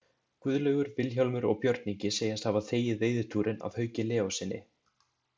Guðlaugur, Vilhjálmur og Björn Ingi segjast hafa þegið veiðitúrinn af Hauki Leóssyni.